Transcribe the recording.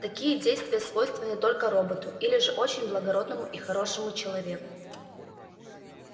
такие действия свойственны только роботу или же очень благородному и хорошему человеку